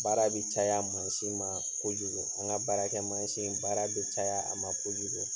Baara bi caya mansin ma kojugu. An ŋa baarakɛmasin, baara be caya a ma kojugu.